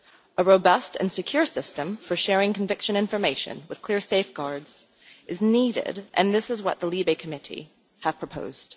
A robust and secure system for sharing conviction information with clear safeguards is needed, and this is what the LIBE Committee has proposed.